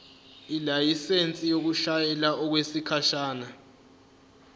ilayisensi yokushayela okwesikhashana